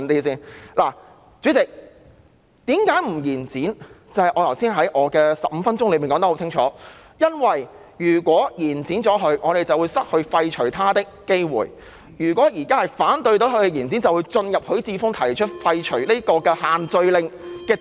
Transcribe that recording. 代理主席，為甚麼不延展，在我接近15分鐘的發言說得很清楚，因為如果延展修訂期限，我們便會失去廢除它的機會；如果現在反對延展，便能夠進入許智峯議員提出廢除限聚令的議案。